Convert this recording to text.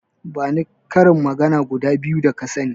Bani karin magana guda biyu da ka sani.